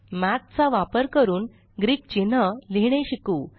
मठ चा वापर करून ग्रीक चिन्ह लिहीणे शिकू